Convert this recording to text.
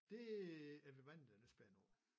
Det er vi mange der er lidt spændte over